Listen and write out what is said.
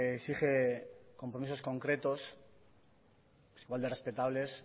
exige compromisos concretos igual de respetables